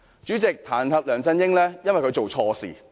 主席，彈劾梁振英，是因為他做錯事。